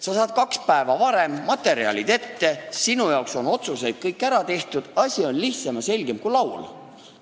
Sa saad kaks päeva varem materjalid kätte, sinu eest on kõik otsused ära tehtud – asi on lihtsam ja selgem kui laul.